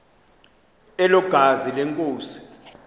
elo gazi lenkosi